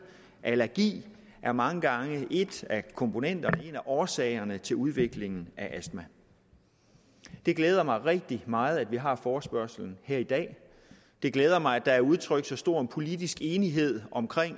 er allergi mange gange en af komponenterne i en af årsagerne til udviklingen af astma det glæder mig rigtig meget at vi har forespørgslen her i dag det glæder mig at der er udtrykt så stor politisk enighed om